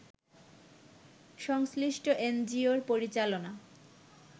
সংশ্লিষ্ট এনজিও’র পরিচালনা